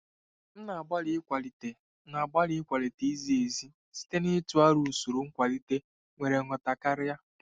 M na-agbalị ịkwalite na-agbalị ịkwalite izi ezi site n'ịtụ aro usoro nkwalite nwere nghọta karị.